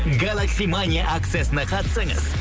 галакси мани акциясына қатысыңыз